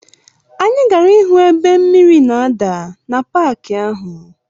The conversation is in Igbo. Anyị gara ịhụ ebe mmiri na-ada na paki ahụ.